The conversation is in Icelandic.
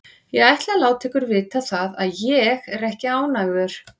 Ég ætla að láta ykkur vita það að ÉG er ekki ánægður.